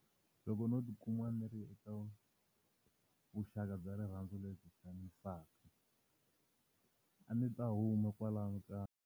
Loko ndzo ti kuma ndzi ri eka vuxaka bya rirhandzu lebyi xanisaka, a ndzi ta huma kwalano ka.